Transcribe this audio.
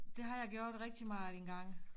Det har jeg gjort rigtig meget engang